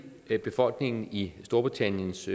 befolkningen i storbritanniens